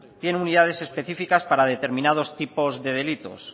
tiene unidades específicas para determinados tipos de delitos